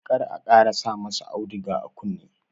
Kar ka ƙara sa ma sa auduga a kunne!